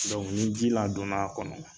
Dɔnku ni ji ladon a kɔnɔ